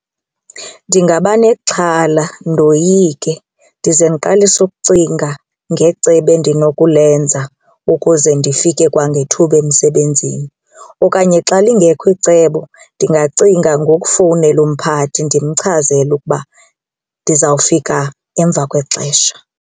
Ndingaba nexhala ndoyike ndize ndiqalise ukucinga ngecebo endinokulenza ukuze ndifike kwangethuba emsebenzini okanye xa lingekho icebo ndingacinga ngokufowunela umphathi ndimchazele ukuba ndizawufika emva kwexesha.